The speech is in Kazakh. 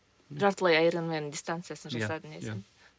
жартылай аэромен дистанциясын жасадың иә сен